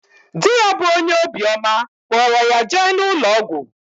Di ya bu onye obi oma kporo ya jee na ulo ogwu.